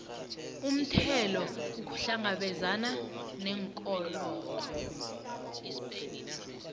umthelo ukuhlangabezana neenkolodo